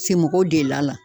Se mɔgɔw delila.